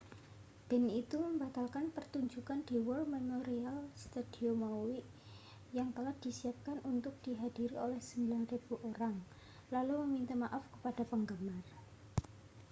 band itu membatalkan pertunjukan di war memorial stadium maui yang telah disiapkan untuk dihadiri oleh 9.000 orang lalu meminta maaf kepada penggemar